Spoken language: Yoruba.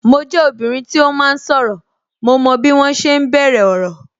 Mo jẹ obìnrin tí ó máa ń sọ̀rọ̀, mo mọ bí wọn ṣe ń bẹ̀rẹ̀ ọ̀rọ̀